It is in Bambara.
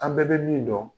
An bɛɛ bɛ min dɔn